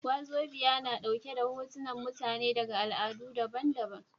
Wazobia na ɗauke da hotunan mutane daga al'adu daban daban